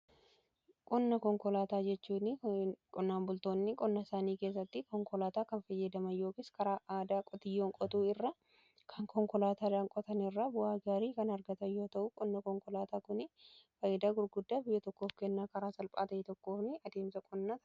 Qonna konkolaataa jechuun qonnaan bultoonni qonna isaanii keessatti konkolaataa kan fayyadaman yookiis karaa aadaa qotiyyoon qotuu irra kan konkolaataadhan qotan irra bu'aa gaarii kan argata yoo ta'u; qonna konkolaataa kunii faayidaa gurguddaa biyya tokkoof kennaa. Karaa salphaa ta'ee tokkooni adeemsa qonnaa.